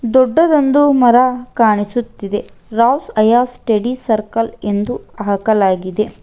ದೊಡ್ಡದೊಂದು ಮರ ಕಾಣಿಸುತ್ತಿದೆ ರೌಸ್ ಅಯಾಸ್ ಸ್ಟಡಿ ಸರ್ಕಲ್ ಎಂದು ಹಾಕಲಾಗಿದೆ.